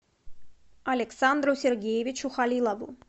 александру сергеевичу халилову